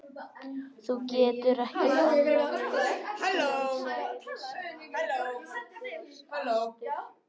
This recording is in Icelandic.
Þú getur ekki bannað mér það- sagði Smári, hræddur og æstur.